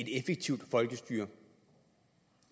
effektivt folkestyre